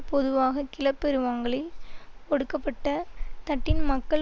பொதுவாக கிளபெருவங்களில் ஒடுக்கப்பட்ட தட்டின் மக்கள்